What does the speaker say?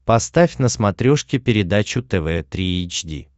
поставь на смотрешке передачу тв три эйч ди